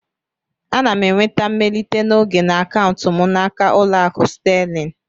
Ana m enweta mmelite n'oge na akaụntụ m n'aka Ụlọakụ Sterling